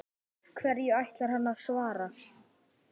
Hverju ætlar hann að svara?